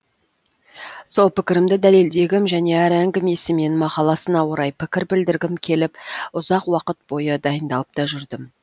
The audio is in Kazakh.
сол пікірімді дәлелдегім және әр әңгімесі мен мақаласына орай пікір білдіргім келіп ұзақ уақыт бойы дайындалып та жүрдім